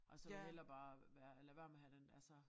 Og så hellere bare være lade være med at have den altså